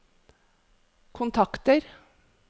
kontakter